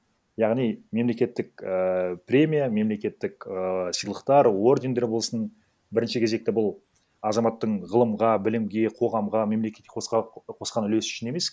яғни мемлекеттік ііі премия мемлекеттік ыыы сыйлықтар ордендер болсын бірінші кезекті бұл азаматтың ғылымға білімге қоғамға мемлекетке қосқан үлесі үшін емес